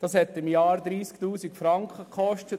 Dies hat uns im Jahr 30 000 Franken gekostet.